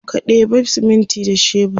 ka ɗeba siminti da shebur